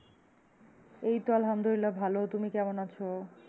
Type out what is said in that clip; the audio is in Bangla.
এই আলহামদুলিল্লাহ ভালো, তুমি কেমন আছো?